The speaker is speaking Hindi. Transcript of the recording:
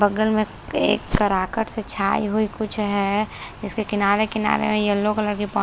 बगल में एक तराकट से छायी हुई कुछ है जिसके किनारे किनारे वई येलो कलर की पो--